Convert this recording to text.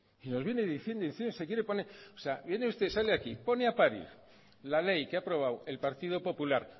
nos viene diciendo y diciendo que se quiere poner viene usted sale aquí pone a parir la ley que ha aprobado el partido popular